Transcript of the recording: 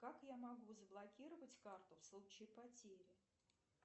как я могу заблокировать карту в случае потери